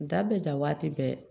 Da bɛ ja waati bɛɛ